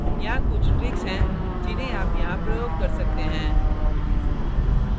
यहाँ कुछ tricks हैं जिन्हें आप यहाँ प्रयोग कर सकते हैं